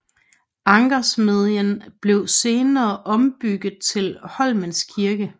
Ankersmedjen blev senere ombygget til Holmens Kirke